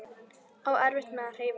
Á erfitt með að hreyfa sig.